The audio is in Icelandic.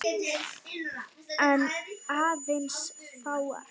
En aðeins fáar.